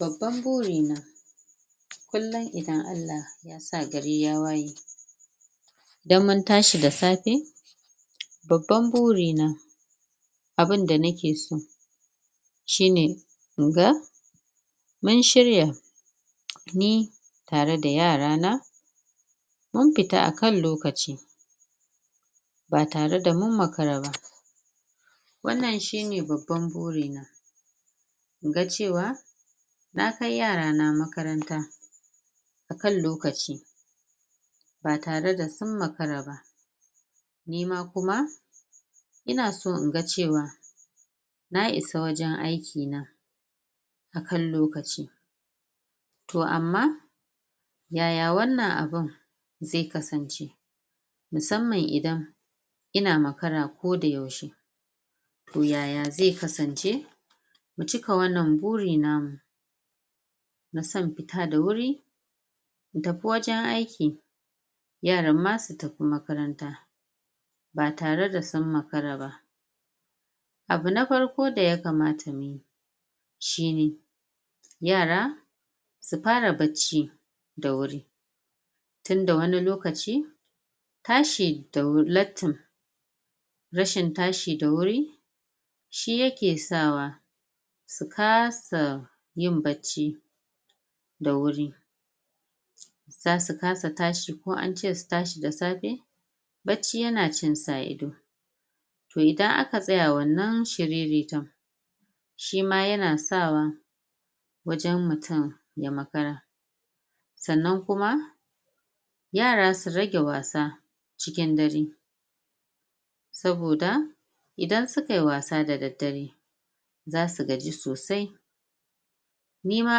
Babban burina kullum idan Allah ya sa gari ya waye idan mun tashi da safe babban burina abinda ni ke so shine inga mun shirya ni tare da yarana mun fita akan lokaci ba tare da mun makara ba, wannan shine babban burina, inga ce wa na kai yarana makaranta akan lokaci, ba tare da sun makara ba, nima kuma ina so inga ce wa na isa wajen aiki na akan lokaci, to amma ya ya wannan abun zai kasance musamman idan ina makara ko da yaushe? To ya ya zai kasance mu cika wannan buri namu na son fita da wuri in ta fi wajen aiki yaran ma su tafi makaranta ba tare da sun makara ba? Abu na farko da yakamata muyi shine yara su fara bacci da wuri tunda wani lokaci tashi da wuri lattin rashin tashi da wuri shi ya ke sawa su kasa yin bacci da wuri za su kasa tashi ko an ce su tashi da safe bacci ya na cin su a ido, to idan aka tsaya wannan shiriritar shima ya na sawa wajen mutum ya makara sannan kuma yara su rage wasa cikin dare, saboda idan su kai wasa da daddare za su gaji sosai, nima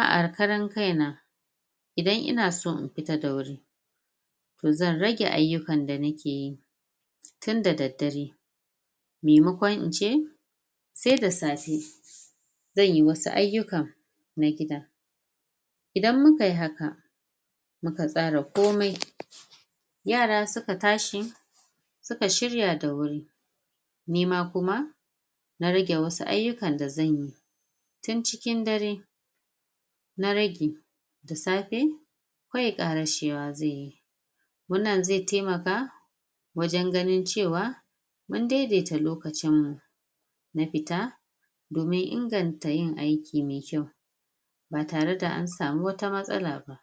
a karan kaina idan ina so in fita da wuri to zan rage ayyukan da ni ke yi tun da daddare maimakon in ce sai da safe zan yi wasu ayyukan na gida, idan mu kai haka mu ka tsara komai yara su ka tashi su ka shirya da wuri nima kuma na rage wasu ayyukan da zan yi tun cikin dare na rage da safe kawai ƙarashewa zan yi, wannan zai taimaka wajen ganin ce wa mun daidaita lokacinmu na fita domin inganta yin aiki mai kyau ba tare da an samu wata matsala ba.